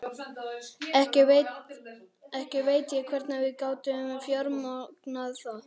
Ekki veit ég hvernig við gátum fjármagnað það.